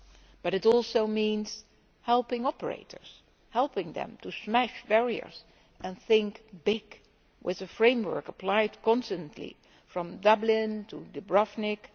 But it also means helping operators helping them to smash barriers and think big, with a framework applied consistently from Dublin to Dubrovnik